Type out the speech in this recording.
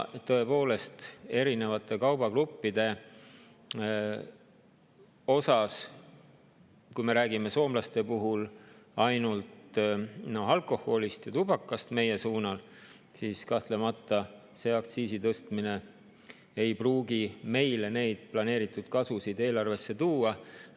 Tõepoolest, erinevate kaubagruppide puhul, kui me räägime soomlaste puhul ainult alkoholist ja tubakast, kahtlemata see aktsiisi tõstmine ei pruugi planeeritud kasvu meie eelarvesse tuua.